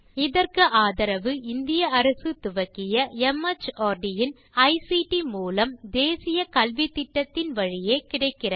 இதற்கு ஆதரவு இந்திய அரசு துவக்கிய மார்ட் இன் ஐசிடி மூலம் தேசிய கல்வித்திட்டத்தின் வழியே கிடைக்கிறது